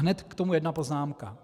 Hned k tomu jedna poznámka.